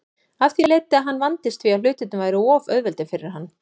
Af því leiddi að hann vandist því að hlutirnir væru of auðveldir fyrir hann.